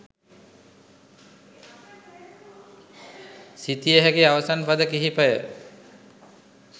සිතිය හැකි අවසන් පද කිහිපය